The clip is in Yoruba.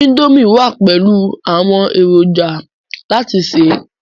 indomie wa pẹlú àwọn èròjà láti se.